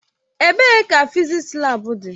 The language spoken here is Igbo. Ebee ka fịzịksi laabu dị.